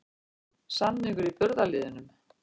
Samningur í burðarliðnum